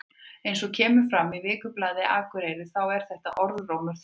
Eins og kemur fram í Vikublaðinu Akureyri þá er þetta orðrómur þar.